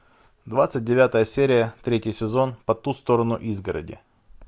двадцать девятая серия третий сезон по ту сторону изгороди